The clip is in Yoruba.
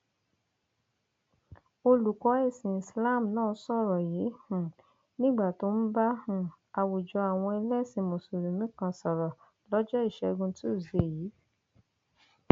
olùkọ ẹsìn islam náà sọrọ yìí um nígbà tó ń bá um àwùjọ àwọn ẹlẹsìn mùsùlùmí kan sọrọ lọjọ ìṣẹgun túṣídéé yìí